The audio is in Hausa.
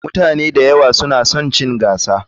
Mutane da yawa suna son chin gasa.